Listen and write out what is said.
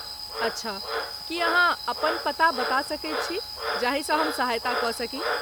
अच्छा, की अहाँ अपन पता बता सकैत छी जाहिसँ हम सहायता क सकी?